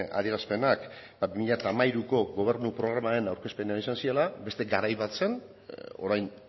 adierazpenak bi mila hamairuko gobernu programaren aurkezpenean izan zirela beste garai bat zen orain